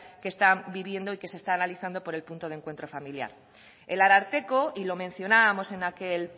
que están viviendo y se está analizando por el punto de encuentro familiar el ararteko y lo mencionábamos en aquel